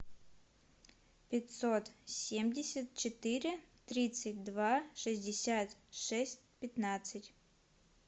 пятьсот семьдесят четыре тридцать два шестьдесят шесть пятнадцать